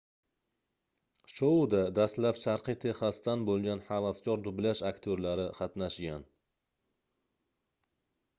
shouda dastlab sharqiy texasdan boʻlgan havaskor dublyaj aktyorlari qatnashgan